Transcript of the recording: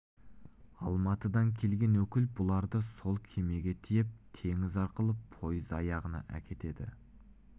алматыдан келген өкіл бұларды сол кемеге тиеп теңіз арқылы пойыз аяғына әкетеді